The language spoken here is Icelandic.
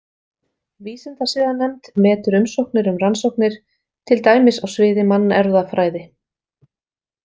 Vísindasiðanefnd metur umsóknir um rannsóknir, til dæmis á sviði mannerfðafræði.